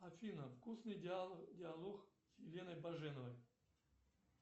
афина вкусный диалог с еленой баженовой